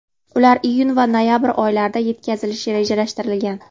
Ular iyun va noyabr oylarida yetkazilishi rejalashtirilgan.